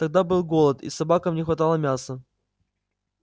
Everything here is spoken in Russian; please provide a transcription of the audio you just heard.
тогда был голод и собакам не хватало мяса